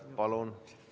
Palun!